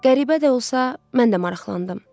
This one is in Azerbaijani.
Qəribə də olsa, mən də maraqlandım.